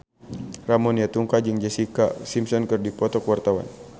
Ramon T. Yungka jeung Jessica Simpson keur dipoto ku wartawan